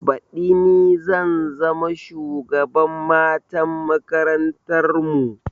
Baɗi ni zan zama shugaban matan makarantar mu